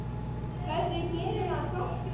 Hvernig gerir maður gott grín?